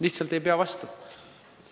Lihtsalt ei pea vastu!